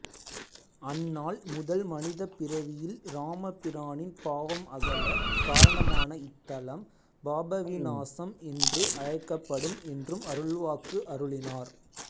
அந்நாள் முதல் மனிதப் பிறவியில் இராமபிரானின் பாவம் அகல காரணமான இத்தலம் பாபவிநாசம் என்று அழைக்கப்படும் என்று அருள்வாக்கு அருளினார்